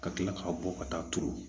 Ka kila ka bɔ ka taa turu